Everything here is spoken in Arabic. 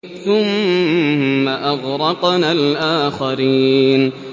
ثُمَّ أَغْرَقْنَا الْآخَرِينَ